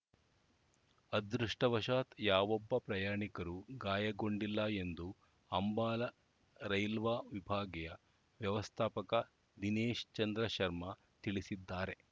ಅದೃಷ್ಟವಶಾತ್‌ ಯಾವೊಬ್ಬ ಪ್ರಯಾಣಿಕರೂ ಗಾಯಗೊಂಡಿಲ್ಲ ಎಂದು ಅಂಬಾಲಾ ರೈಲ್ವಾ ವಿಭಾಗೀಯ ವ್ಯವಸ್ಥಾಪಕ ದಿನೇಶ್‌ ಚಂದ್ರ ಶರ್ಮಾ ತಿಳಿಸಿದ್ದಾರೆ